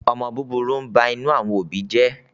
omó búburú ń bá inú àwọn òbí jé.